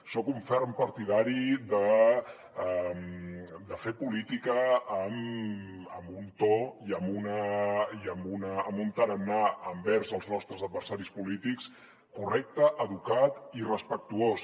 soc un ferm partidari de fer política amb un to i amb un tarannà envers els nostres adversaris polítics correcte educat i respectuós